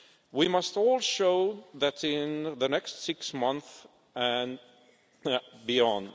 We must all show that in the next six months and beyond.